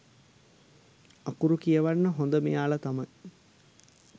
අකුරු කියවන්න හොඳ මෙයාල තමයි.